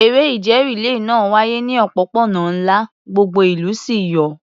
Eré ìje rìléè náà wáyé ní òpópónà ńlá, gbogbo ìlú sì yọ̀.